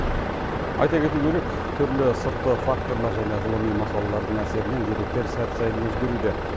айта кету керек түрлі сыртқы факторлар және ғылыми мақалалардың әсерінен деректер сәт сайын өзгеруде